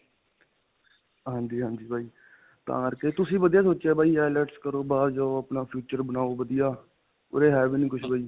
ਹਾਂਜੀ ਹਾਂਜੀ ਬਾਈ, ਤਾਂ ਕਰਕੇ ਤੁਸੀਂ ਵਧੀਆ ਸੋਚਿਆ ਬਾਈ IELTS ਕਰੋ ਬਾਹਰ ਜਾਓ, ਆਪਣਾ future ਬਣਾਓ ਵਧੀਆ. ਉਰੇ ਹੈ ਵੀ ਨਹੀਂ ਕੁਝ ਬਾਈ.